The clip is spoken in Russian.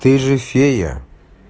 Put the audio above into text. ты же фея